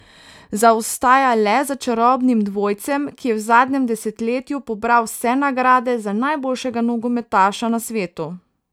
Zaostaja le za čarobnim dvojcem, ki je v zadnjem desetletju pobral vse nagrade za najboljšega nogometaša na svetu.